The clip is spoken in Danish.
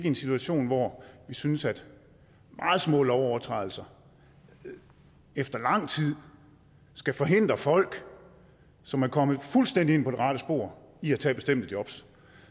en situation hvor vi synes at meget små lovovertrædelser efter lang tid skal forhindre folk som er kommet fuldstændig ind på det rette spor i at tage bestemte jobs